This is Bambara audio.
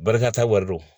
Barika wari do